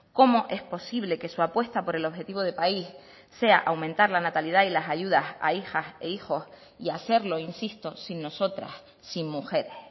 cómo es posible que su apuesta por el objetivo de país sea aumentar la natalidad y las ayudas a hijas e hijos y hacerlo insisto sin nosotras sin mujeres